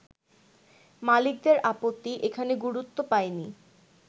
মালিকদের আপত্তি এখানে গুরুত্ব পায়নি।